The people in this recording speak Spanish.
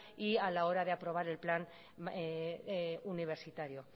y a la hora de aprobar el plan universitario